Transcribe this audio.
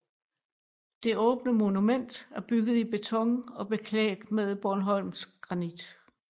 Det åbne monument er bygget i beton og beklædt med bornholmsk granit